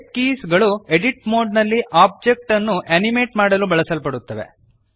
shape keys ಗಳು edit mode ನಲ್ಲಿ object ಅನ್ನು ಅನಿಮೇಟ್ ಮಾಡಲು ಬಳಸಲ್ಪಡುತ್ತವೆ